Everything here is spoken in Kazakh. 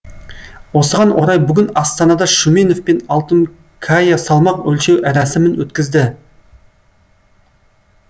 осыған орай бүгін астанада шүменов пен алтункая салмақ өлшеу рәсімін өткізді